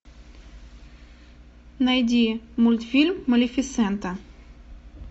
найди мультфильм малефисента